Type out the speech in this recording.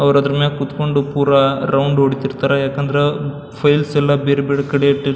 ಅವ್ರ್ ಅದ್ರ ಮೇಲೆ ಕುತ್ಕೊಂಡು ಪುರ ರೌಂಡ್ ಹೊಡಿತಾ ಇರ್ತಾರ ಯಾಕಂದ್ರ ಫೈಲ್ಸ್ ಎಲ್ಲ ಬೇರೆ ಬೇರೆ ಕಡೆ ಇಟ್ಟಿರ್ --